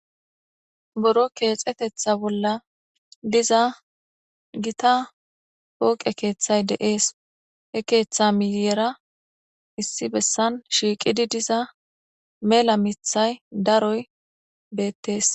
Boro keexetetha bolla diza gita pooqe keeththay deees he keeththa miyera issi bessan shiiqidi diza mela mithay daroy beettees.